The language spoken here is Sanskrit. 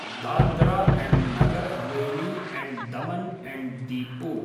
Dadra and Nagar Haveli and Daman and Diu